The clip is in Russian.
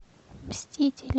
мстители